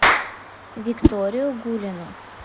викторию гулину